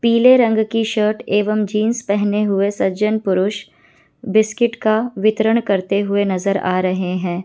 पीले रंग की शर्ट एवं जींस पहने हुए सज्जन पुरुष बिस्किट का वितरण करते हुए नजर आ रहे है।